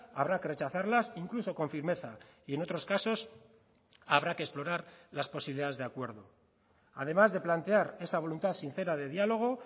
habrá que rechazarlas incluso con firmeza y en otros casos habrá que explorar las posibilidades de acuerdo además de plantear esa voluntad sincera de diálogo